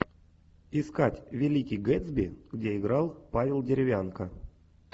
искать великий гэтсби где играл павел деревянко